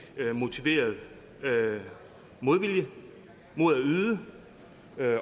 motiveret modvilje mod at yde